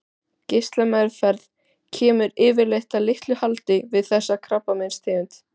Geislameðferð kemur yfirleitt að litlu haldi við þessa tegund krabbameins.